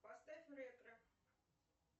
поставь ретро